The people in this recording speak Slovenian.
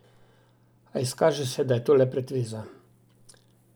A izkaže se, da je to le pretveza.